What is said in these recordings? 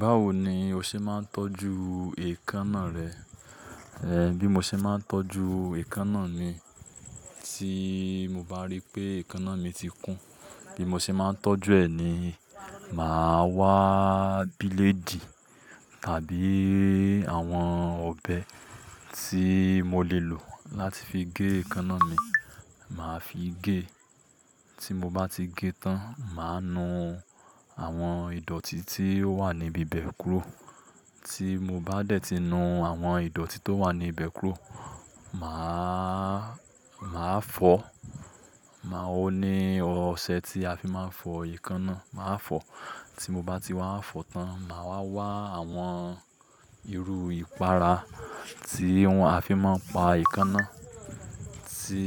Báwo ni o ṣe máa ń tọ́jú èékánná rẹ? Eh, bí mo ṣe máa ń tọ́jú èékánná mi, tí mo bá rí pé èékánná mi ti kún, bí mo ṣe máa ń tọ́jú ẹ̀ ni, màá wá à bílèdì tàbí àwọn ọ̀bẹ tí mo lè lò láti fi gé èékánná mi, màá fi gé. Tí mo bá ti gé tán, màá nu àwọn ìdọ̀tí tí ó wà níbi bẹ́ẹ̀ kúró. Tí mo bá dẹ̀ ti nu àwọn ìdọ̀tí tó wà níbi bẹ́ẹ̀ kúró, màá, màá fọ̀, màá ó ní ọṣẹ tí a fi máa ń fọ èékánná, màá fọ̀. Tí mo bá ti wá fọ̀ tán, màá wá wá àwọn irú ìpara tí wọ́n á fi máa pa èékánná, tí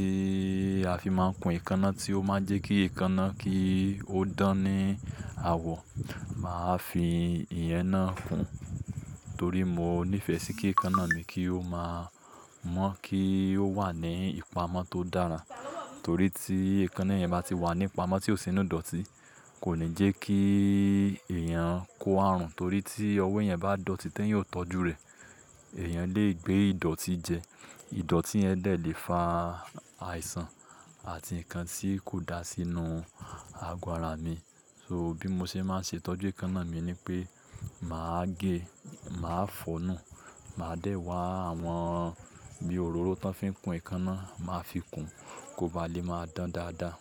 a fi máa ń kun èékánná tí ó máa ń jẹ́ kí èékánná kí ó dán ní àwọ̀, màá fi ìyẹn náà kún. Torí mo níìfẹ̀ sí kí èékánná mi kí ó máa mọ́ kí ó wà ní ìpamọ́ tó dára. Torí tí èékánná yẹn bá ti wà nípa mó tí ó sì inú ìdọ̀tí, kò ní jẹ́ kí èèyàn kó àrùn, torí tí ọwọ́ yẹn bá dọ̀tí, tẹ́yìn yóò tọ́jú rẹ̀. Ẹ̀yàn lè gbé ìdọ̀tí jẹ, ìdọ̀tí yẹn lè fa àìsàn àti nǹkan tí kò dá sí inú àgọ́ ara mi. So bí mo ṣe máa ń ṣe tọ́jú èékánná mi ni pé màá gé, màá fọ̀nà, màá dẹ̀ wá àwọn bí òróró tó fi ń kun èékánná, màá fi kun kó ba lè máa dán dáadáa.